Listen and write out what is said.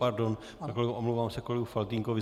Pardon, omlouvám se kolegu Faltýnkovi.